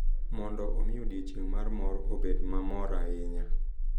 Mondo omi odiochieng’ mar mor obed ma mor ahinya.